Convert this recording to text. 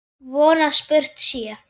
Von að spurt sé.